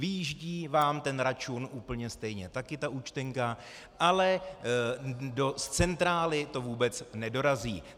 Vyjíždí vám ten račun úplně stejně, taky ta účtenka, ale do centrály to vůbec nedorazí.